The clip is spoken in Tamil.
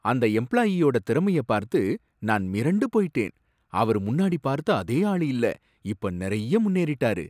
அந்த எம்ப்ளாயீயோட திறமைய பார்த்து நான் மிரண்டு போயிட்டேன், அவரு முன்னாடி பார்த்த அதே ஆளு இல்ல இப்ப நறைய முன்னேறிட்டாரு